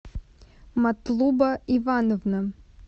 матлуба ивановна